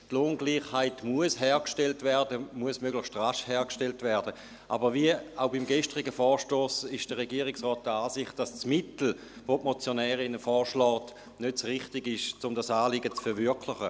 Die Lohngleichheit muss möglichst rasch hergestellt werden, aber wie auch beim gestrigen Vorstoss ist der Regierungsrat der Ansicht, dass das Mittel, das die Motionärin vorschlägt, nicht das richtige ist, um dieses Anliegen zu verwirklichen.